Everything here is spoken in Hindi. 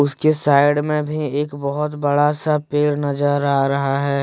के साइड में भी एक बहोत बड़ा सा पेड़ नजर आ रहा है।